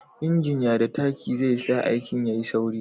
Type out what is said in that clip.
injin ya da taki zai sa aikin ka ya yi sauri